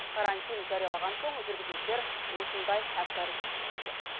карантин жариялаған соң жүргізушілер осындай әккі әрекетке көшкен